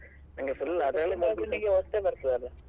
ನಿಂಗೆ ಹೊಸ್ತೇ ಬರ್ತದಲ್ಲ.